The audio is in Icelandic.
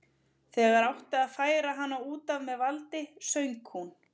Þegar átti að færa hana út af með valdi söng hún